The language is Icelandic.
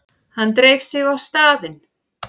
Hann dreif sig á staðinn.